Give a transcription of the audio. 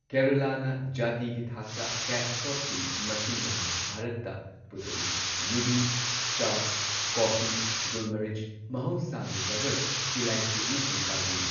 ꯀꯦꯔꯂꯥꯅ ꯖꯥꯇꯤꯒꯤ ꯊꯥꯛꯇ ꯀꯦꯁ ꯀ꯭ꯔꯣꯞꯁꯤꯡ ꯃꯁꯤꯡ ꯌꯥꯝꯅ ꯚꯥꯔꯠꯇ ꯄꯨꯊꯣꯛꯏ, ꯌꯨꯕꯤ, ꯆꯥ, ꯀꯣꯐꯤ, ꯒꯨꯜ ꯃꯤꯔꯆ , ꯃꯍꯧꯁꯥꯒꯤ ꯔꯕꯕꯔ, ꯏꯂꯥꯏꯆꯤ ꯑꯃꯁꯨꯡ ꯀꯥꯖꯨ꯫